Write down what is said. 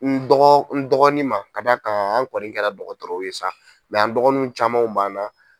N dɔgɔ n dɔgɔnin ma ka d'a kan an kɔni kɛra dɔgɔtɔrɔw ye sa an dɔgɔninw camanw b'an na.